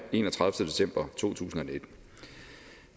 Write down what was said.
enogtredivete december to tusind og nitten